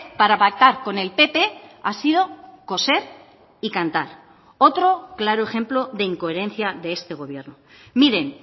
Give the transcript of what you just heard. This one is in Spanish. para pactar con el pp ha sido coser y cantar otro claro ejemplo de incoherencia de este gobierno miren